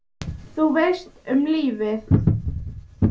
Þú veist, um lífið?